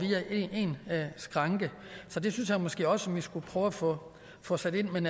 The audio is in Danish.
via én skranke så der synes jeg måske også vi skulle prøve at få få sat ind men